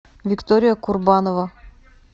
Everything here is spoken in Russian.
виктория курбанова